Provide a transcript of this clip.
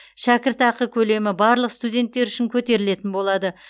шәкіртақы көлемі барлық студенттер үшін көтерілетін болады